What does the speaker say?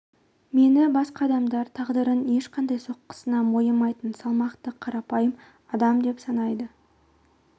мені басқа адамдар тағдырдың ешқандай соққысына мойымайтын салмақты қарапайым адам деп санайды